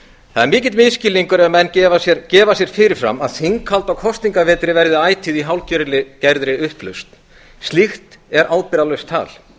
það er mikill misskilningur ef menn gefa sér fyrir fram að þinghald á kosningavetri verði ætíð í hálfgerðri upplausn slíkt er ábyrgðarlaust tal